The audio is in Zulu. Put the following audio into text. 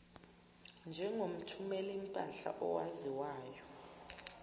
njengomthumeli mpahla owaziwayo